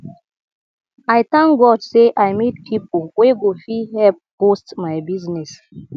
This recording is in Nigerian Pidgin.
i thank god say i meet people wey go fit help boost my business